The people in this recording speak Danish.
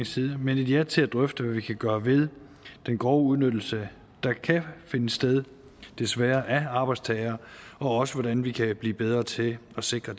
side men et ja til at drøfte hvad vi kan gøre ved den grove udnyttelse der kan finde sted desværre af arbejdstagere og hvordan vi kan blive bedre til at sikre